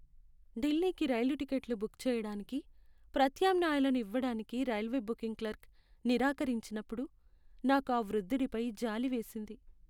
ఢిల్లీకి రైలు టిక్కెట్లు బుక్ చేయడానికి ప్రత్యామ్నాయాలను ఇవ్వడానికి రైల్వే బుకింగ్ క్లర్క్ నిరాకరించినప్పుడు నాకు ఆ వృద్ధుడిపై జాలి వేసింది.